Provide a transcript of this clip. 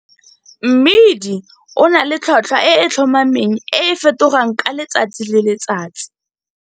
Mmidi o na le tlhotlhwa e e tlhomameng e e fetogang ka letsatsi le letsatsi.